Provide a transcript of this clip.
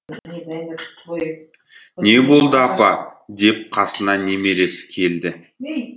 не болды апа деп қасына немересі келді